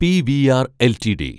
PVR LTD